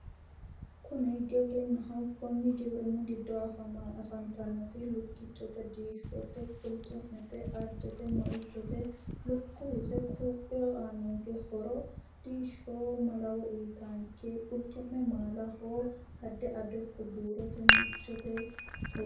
Kuni giwirinnaho konni giwirinni giddo afantannohu lukkichote diishshote addete qulxu'mete meichote lukkuwe quuphu horo uytanno diishsho malawoho qulxu'me maalaho adde ado iko buuroho meicho